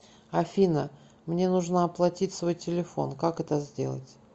афина мне нужно оплатить свой телефон как это сделать